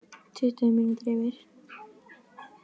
Tuttugu mínútur yfir